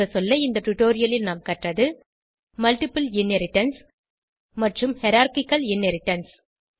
சுருங்கசொல்ல இந்த டுடோரியலில் கற்றது மல்ட்டிபிள் இன்ஹெரிடன்ஸ் மற்றும் ஹைரார்ச்சிக்கல் இன்ஹெரிடன்ஸ்